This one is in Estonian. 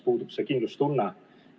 Puudub kindlustunne.